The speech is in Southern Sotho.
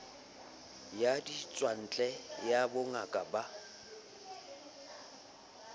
ya ditswantle ya bongaka ba